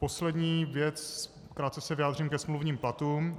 Poslední věc - krátce se vyjádřím ke smluvním platům.